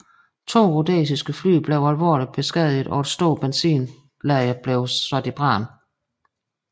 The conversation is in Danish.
To rhodesiske fly blev alvorligt beskadiget og et stort benzinlager blev sat i brand